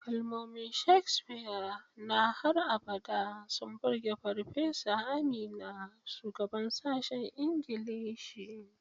Kalmomin Shakespeare na har abada sun burge Farfesa Amina, shugabar sashen Ingilishi.